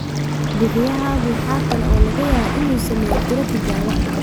Bixiyahaagu waxa kale oo laga yaabaa inuu sameeyo tiro tijaabo ah.